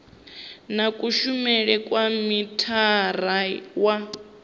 na kushumele kwa mithara wa